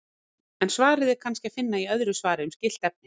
En svarið er kannski að finna í öðru svari um skylt efni.